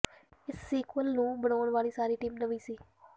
ਇਸ ਸੀਕੁਏਲ ਨੂੰ ਬਣਾਉਣ ਵਾਲੀ ਸਾਰੀ ਟੀਮ ਨਵੀਂ ਸੀ